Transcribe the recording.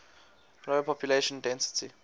low population density